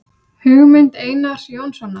Hugmynd Einars Jónssonar.